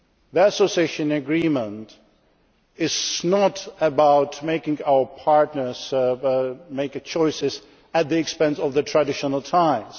today. The Association Agreement is not about making our partners make choices at the expense of their traditional